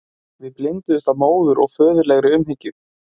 Við blinduðumst af móður- og föðurlegri umhyggju.